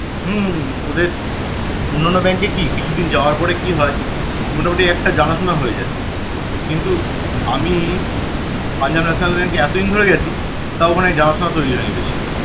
হম ওদের অন্যান্য bank এ এ কি কিছুদিন যাওয়ার পরে কি হয় মোটামুটি একটা জানাশোনা হয়ে যায় কিন্তু আমিই Punjab national bank এতদিন ধরে গেছি তাও ওখানে জানাশোনা তৈরি হয়নি বেশি